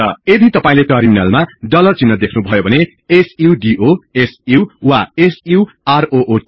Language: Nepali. यदि तपाईले टर्मिनलमा डलर चिन्ह देख्नुभयो भने सुडो सु वा सु रुट